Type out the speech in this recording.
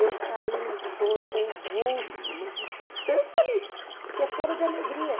Eu caí num choro convulso, mas de tanta alegria, porque é choro de alegria.